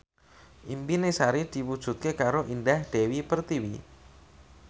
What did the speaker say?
impine Sari diwujudke karo Indah Dewi Pertiwi